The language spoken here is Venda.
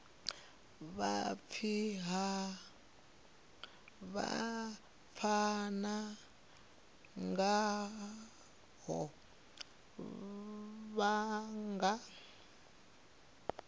vha pfana ngaho vha nga